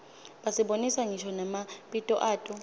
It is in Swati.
basibonisa ngisho namabito ato